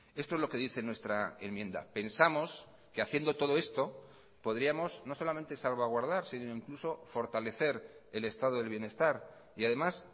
esto es lo que dice nuestra enmienda pensamos que haciendo todo esto podríamos no solamente salvaguardar sino incluso fortalecer el estado del bienestar y además